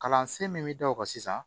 Kalansen min bɛ da o kan sisan